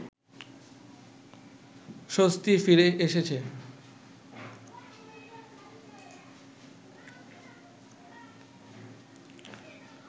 স্বস্তি ফিরে এসেছে